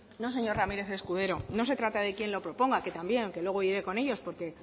no señor ramírez escudero no se trata de quién lo proponga que también que luego iré con ellos porque